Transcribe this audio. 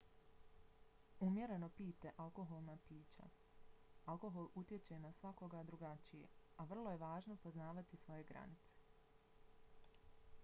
umjereno pijte alkoholna pića. alkohol utječe na svakoga drugačije a vrlo je važno poznavati svoje granice